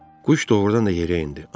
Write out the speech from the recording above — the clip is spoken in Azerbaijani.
Quş doğrudan da yerə endi.